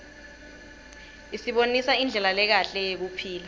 isibonisa indlela lekahle yekuphila